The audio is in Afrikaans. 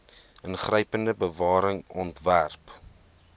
ingrypende bewaring ontwerp